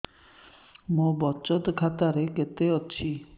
ମୋ ବଚତ ଖାତା ରେ କେତେ ଅଛି